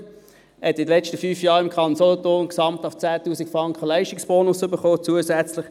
Er hat in den letzten fünf Jahren im Kanton Solothurn gesamthaft 10 000 Franken zusätzlichen Leistungsbonus erhalten.